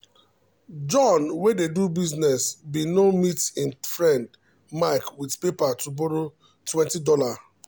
john wey dey do business bin go meet him friend mike with paper to borrow $20.00